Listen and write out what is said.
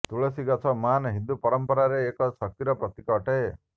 ତୁଳସୀ ଗଛ ମହାନ ହିନ୍ଦୁ ପରମ୍ପରାରେ ଏକ ଶକ୍ତିର ପ୍ରତୀକ ଅଟେ